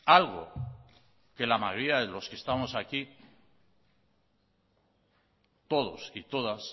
algo que la mayoría de los que estamos aquí todos y todas